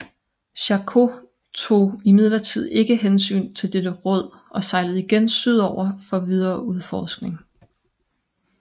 Charcot tog imidlertid ikke hensyn til dette råd og sejlede igen syd over for videre udforskning